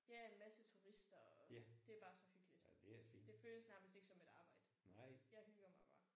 Ja en masse turister og det er bare så hyggeligt. Det føles nærmest ikke som et arbejde. Jeg hygger mig bare